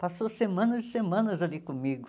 Passou semanas e semanas ali comigo.